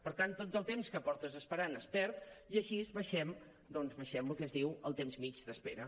per tant tot el temps que portes esperant es perd i així baixem doncs baixem el que se’n diu el temps mitjà d’espera